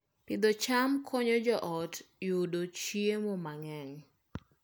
Pidho cham konyo joot yudo chiemo mang'eny